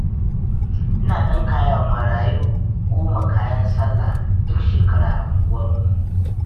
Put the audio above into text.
Ina ɗinkawa marayu goma kayan sallah duk shekara a unguwarmu.